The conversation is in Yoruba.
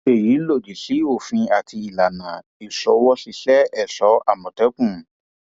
èyí lòdì sí òfin àti ìlànà ìṣòwòṣiṣẹ ẹṣọ àmọtẹkùn